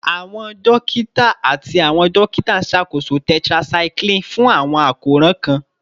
Awọn dokita ati awọn dokita nṣakoso tetracycline fun awọn akoran kan